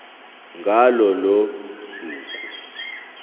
ngalo lolo suku